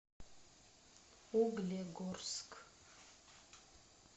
углегорск